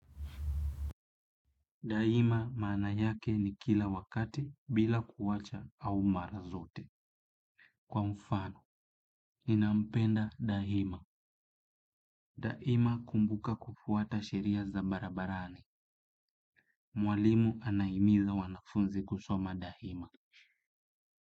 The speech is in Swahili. Daima maana yake ni kila wakati bila kuwacha au marazote. Kwa mfano, ninampenda daima. Daima kumbuka kufuata sheria za barabarani. Mwalimu anahimiza wanafunzi kusoma daima.